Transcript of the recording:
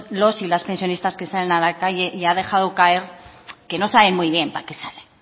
los y las pensionistas que salen a la calle y ha dejado caer que no saben muy bien para qué salen